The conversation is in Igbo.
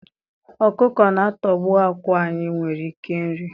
Ọkụkọ na-atọgbọ àkwá anyị nwere ike iri.